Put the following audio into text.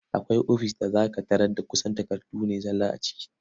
Akwai ofis da za ka tarar da kusan takardu ne zalla a ciki.